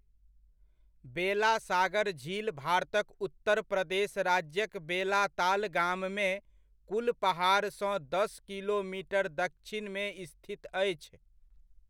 बेलासागर झील भारतक उत्तर प्रदेश राज्यक बेलाताल गाममे, कुलपहाड़सँ दस किलोमीटर दक्षिणमे स्थित अछि।